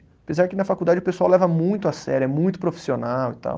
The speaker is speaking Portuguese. Apesar que na faculdade o pessoal leva muito a sério, é muito profissional e tal.